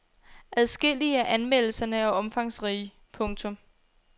Adskillige af anmeldelserne er omfangsrige. punktum